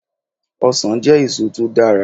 Ọsàn jẹ́ èso to dára